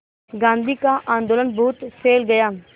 गांधी का आंदोलन बहुत फैल गया